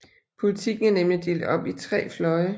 Politikken er nemlig delt op i tre fløje